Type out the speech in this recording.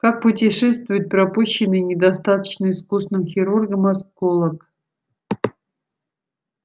как путешествует пропущенный недостаточно искусным хирургом осколок